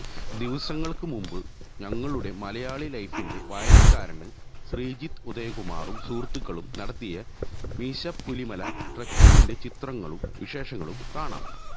ദിവസങ്ങള്ക്ക് മുമ്പ് ഞങ്ങളുടെ മലയാളി ലൈഫിന്റെ വായനക്കാരന് ശ്രീജിത്ത് ഉദയകുമാറും സുഹൃത്തുക്കളും നടത്തിയ മീശപ്പുലിമല ട്രക്കിങ്ങിന്റെ ചിത്രങ്ങളും വിശേഷങ്ങളും കാണാം